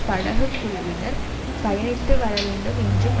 படகுக் குழுவினர் பயணித்து வர வேண்டும் என்றும்